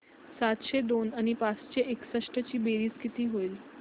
सातशे दोन आणि पाचशे एकसष्ट ची बेरीज किती होईल